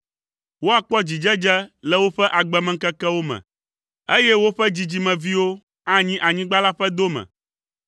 Woakpɔ dzidzedze le woƒe agbemeŋkekewo me, eye woƒe dzidzimeviwo anyi anyigba la ƒe dome.